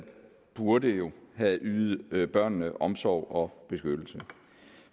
burde have ydet børnene omsorg og beskyttelse